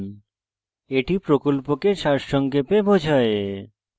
এটি প্রকল্পকে সারসংক্ষেপে বোঝায়